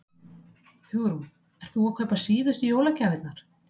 Hugrún: Ert þú að kaupa síðustu jólagjafirnar?